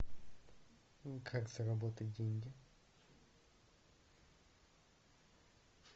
как заработать деньги